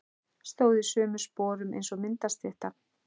Stóð í sömu sporum eins og myndastytta.